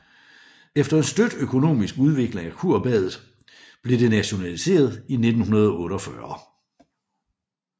Efter en støt økonomisk udvikling af kurbadet blev det nationaliseret i 1948